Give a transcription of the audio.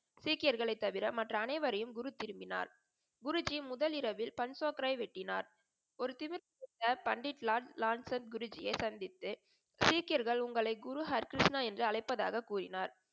சீக்கியர்களை தவிர மற்ற அனைவரையும் குரு திரும்பினார். குருஜி முதல் இறவில் பண்சொப்ரை வெட்டினார். ஒரு பண்டித் லால் லால் சந்த குருஜியை சந்தித்து சீக்கியர்கள் உங்களை குரு ஹரி கிருஷ்ணா என்று அழைப்பதாக கூறினார்.